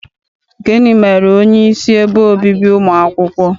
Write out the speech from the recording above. Gịnị mere onyeisi ebe obibi ụmụ akwụkwọ?